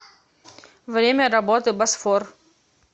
время работы босфор